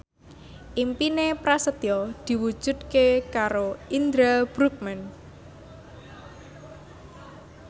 impine Prasetyo diwujudke karo Indra Bruggman